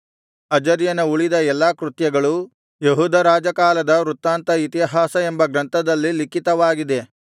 ಅಜರ್ಯನ ಉಳಿದ ಎಲ್ಲಾ ಕೃತ್ಯಗಳೂ ಯೆಹೂದ ರಾಜಕಾಲದ ವೃತಾಂತ ಇತಿಹಾಸ ಎಂಬ ಗ್ರಂಥದಲ್ಲಿ ಲಿಖಿತವಾಗಿದೆ